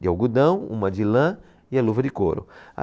de algodão, uma de lã e a luva de couro.